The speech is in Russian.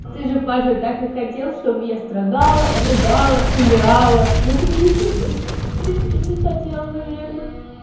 ты же паша так и хотел чтобы я страдала рыдала умирала ну ты получил то что в принципе ты хотел наверное